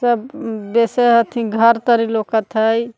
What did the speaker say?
बेसे हथि घर तरी लौकत हई।